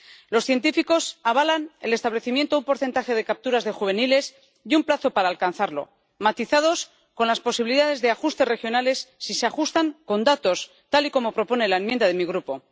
Los científicos avalan el establecimiento de un porcentaje de capturas de juveniles y un plazo para alcanzarlo matizados con las posibilidades de ajustes regionales si se justifican con datos, tal y como propone la enmienda de mi grupo.